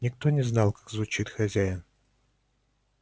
никто не знал как звучит хозяин